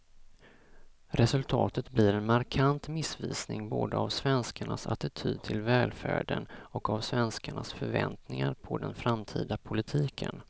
Resultatet blir en markant missvisning både av svenskarnas attityd till välfärden och av svenskarnas förväntningar på den framtida politiken.